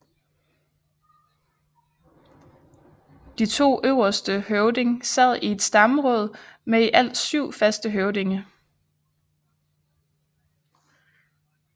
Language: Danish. De to øverste høvding sad i et stammeråd med i alt syv faste høvdinge